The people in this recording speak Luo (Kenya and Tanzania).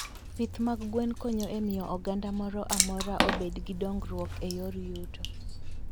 Pith mag gwen konyo e miyo oganda moro amora obed gi dongruok e yor yuto.